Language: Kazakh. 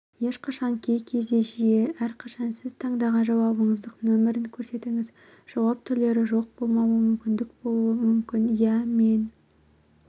ешқашан кей кезде жиі әрқашан сіз таңдаған жауабыңыздық нөмірін көрсетіңіз жауап түрлері жоқболмауы мүмкінболуы мүмкіниә мен